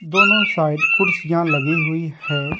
दोनों साइड कुर्सियां लगी हुई है।